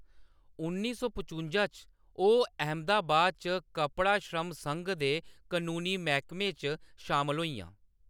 उन्नी सौ पचुंजा च ओह्‌‌ अहमदाबाद च कपड़ा श्रम संघ दे कनूनी मैह्‌‌‌कमे च शामल होइयां।